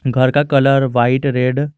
घर का colour white red --